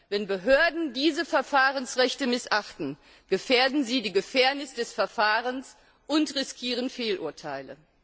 Wenn Behörden diese Verfahrensrechte missachten, gefährden sie die Fairness des Verfahrens und riskieren Fehlurteile.